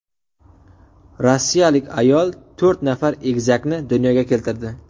Rossiyalik ayol to‘rt nafar egizakni dunyoga keltirdi.